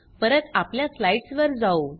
परत आपल्या स्लाइड्स वर जाऊ